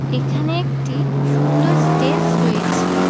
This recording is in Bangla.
এখানে একটি সুন্দর স্টেজ রয়েছে।